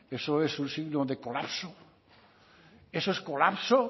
eso es un signo de colapso eso es colapso